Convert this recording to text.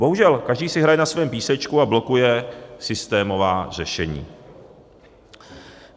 Bohužel každý si hraje na svém písečku a blokuje systémová řešení.